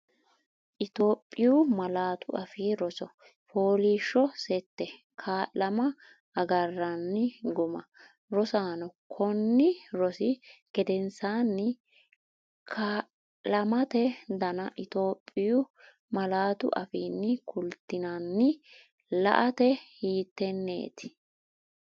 Itophiyu Malaatu Afii Roso FOOLIISHSHO SETTE KAA’LAMA AGARRANNI GUMMA Rosaano, konni rosi gedensaanni: Kaa’amate dana Itophiyu malaatu afiinni kultinanni, laatta hiittenneeti?